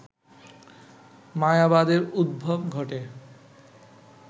মায়াবাদের উদ্ভব ঘটে